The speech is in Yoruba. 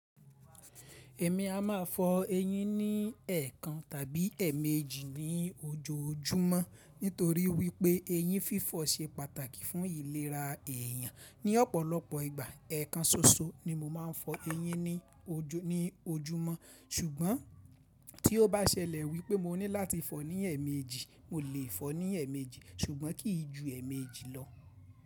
Èmi a ma fọ eyín ní ẹ̀ẹ̀kan tàbí ẹ̀mẹéjì ní ojoojúmọ́ nítorí wípé eyín fífọ̀ ṣe pàtàkì fún ìlera èèyàn. Ní ọ̀pọ̀lọpọ̀ ìgbà ẹ̀ẹ̀kan ṣoṣo ni mo ma ń fọ eyín ní ojúmọ́ ṣùgbọ́n tí ó bá ṣẹlẹ̀ wípé mo ní láti fọ ní ẹ̀mẹéjì, mo lè fọ ní ẹẹ̀méjì ṣùgbọ́n kì í ju ẹẹ̀méjì lọ.